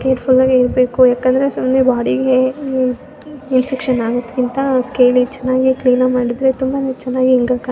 ಸ್ವಲ್ಪ ಕೇರ್ಫುಲ್ಲಾಗೆ ಇರ್ಬೇಕು ಯಾಕಂದ್ರೆ ಸುಮ್ನೆ ಬಾಡಿಗೆ ಇನ್ಫೆಕ್ಷನ್ ಆಗೋದ್ ಕ್ಕಿಂತ ಕೇಳಿ ಚೆನ್ನಾಗಿ ಕ್ಲೀನ್ ಆಗಿ ಮಾಡಿದ್ರೆ ತುಂಬಾನೇ ಚೆನ್ನಾಗಿ --